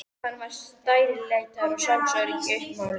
Hann var stærilætið og sjálfsöryggið uppmálað.